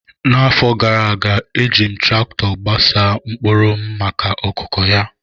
N’afọ gara aga, e ji m traktọ gbasaa mkpụrụ m maka okụkụ ya.